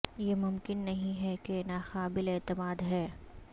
یہ ممکن نہیں ہے کہ یہ ناقابل اعتماد ہے